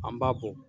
An b'a bɔ